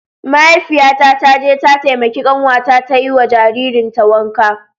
Mahaifiyata ta je ta taimaki kanwata ta yi wa jaririn ta wanka.